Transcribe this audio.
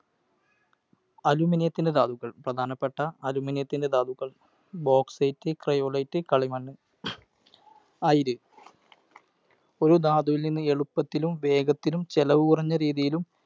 അലൂമിനിയത്തിൻ്റെ ധാതുക്കൾ. പ്രധാനപ്പെട്ട അലൂമിനിയത്തിൻ്റെ ധാതുക്കൾ BauxiteCryolite കളിമണ്ണ്, അയിര്. ഒരു ധാതുവിൽ നിന്ന് എളുപ്പത്തിലും വേഗത്തിലും ചെലവ് കുറഞ്ഞ രീതിയിലും